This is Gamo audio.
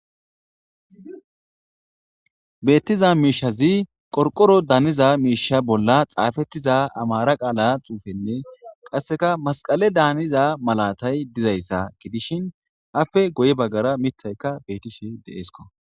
Beettiza miishazi qorqoro daaniza miisha bolla xaafettiza amara qaala xuufenne qasseka masqale daaniza malatay dizayssa gidishin afe goye baggara mithaykka beetishe deeesko.